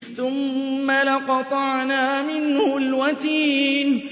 ثُمَّ لَقَطَعْنَا مِنْهُ الْوَتِينَ